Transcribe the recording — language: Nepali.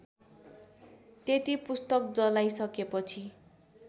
त्यति पुस्तक जलाइसकेपछि